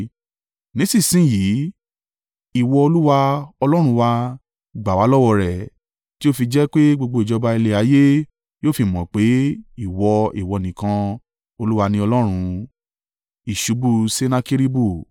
Nísinsin yìí, ìwọ Olúwa, Ọlọ́run wa, gbà wá lọ́wọ́ rẹ̀, tí ó fi jẹ́ pé gbogbo ìjọba ilẹ̀ ayé yóò fi mọ̀ pé Ìwọ, Ìwọ nìkan, Olúwa ni Ọlọ́run.”